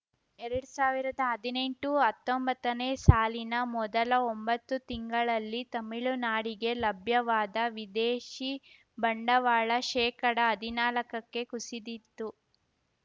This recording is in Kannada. ಎರಡ್ ಸಾವಿರ್ದಾ ಹದಿನೆಂಟುಹತ್ತೊಂಬತ್ತನೇ ಸಾಲಿನ ಮೊದಲ ಒಂಬತ್ತು ತಿಂಗಳಲ್ಲಿ ತಮಿಳುನಾಡಿಗೆ ಲಭ್ಯವಾದ ವಿದೇಶಿ ಬಂಡವಾಳ ಶೇಕಡ ಹದಿನಾಲ್ಕಕ್ಕೆ ಕುಸಿದಿತ್ತು